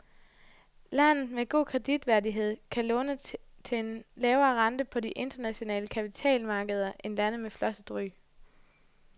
Lande med god kreditværdighed kan låne til en lavere rente på de internationale kapitalmarkeder end lande med flosset ry.